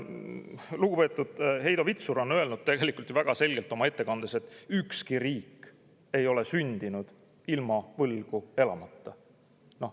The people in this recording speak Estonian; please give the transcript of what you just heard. Lugupeetud Heido Vitsur ütles väga selgelt ühes oma ettekandes, et ükski riik ei ole sündinud ilma võlgu elamata.